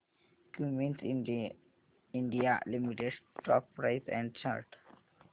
Cummins India limited stock price and chart